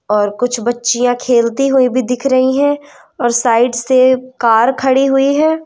और कुछ बच्चियां खेलती हुई भी दिख रही हैं और साइड से कार खड़ी हुई है।